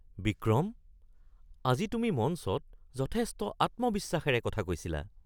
বিক্ৰম! আজি তুমি মঞ্চত যথেষ্ট আত্মবিশ্বাসৰে কথা কৈছিলা!